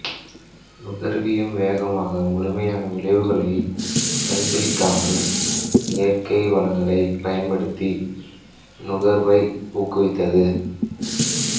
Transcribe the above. நுகர்வியம் வேகமாக முழுமையான விளைவுகளை பரிசீலிக்காமல் இயற்கை வளங்களைப் பயன்படுத்தி நுகர்வை ஊக்குவித்தது